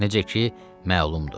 Necə ki, məlumdur.